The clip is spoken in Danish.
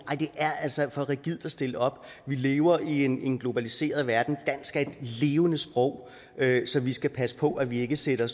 det er altså for rigidt at stille det op vi lever i en en globaliseret verden dansk er et levende sprog så vi skal passe på at vi ikke sætter